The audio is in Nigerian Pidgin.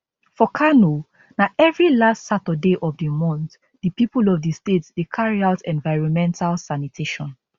for kano na evri last saturday of di month di pipo of di state dey carry out environmental sanitation